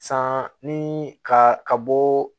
San ni ka ka bɔ